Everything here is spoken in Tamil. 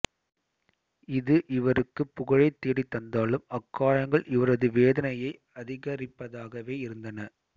இது இவருக்கு புகழைத் தேடித் தந்தாலும் அக்காயங்கள் இவரது வேதனையை அதிகரிப்பதாகவே இருந்தன